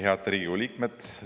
Head Riigikogu liikmed!